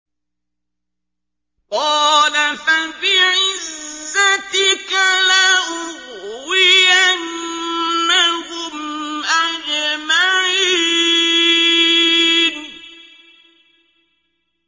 قَالَ فَبِعِزَّتِكَ لَأُغْوِيَنَّهُمْ أَجْمَعِينَ